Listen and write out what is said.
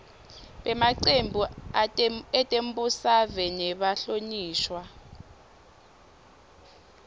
bemacembu etembusave nebahlonishwa